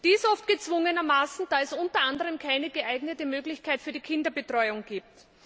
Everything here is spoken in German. dies oft gezwungenermaßen, da es unter anderem keine geeignete Möglichkeit für die Kinderbetreuung gibt.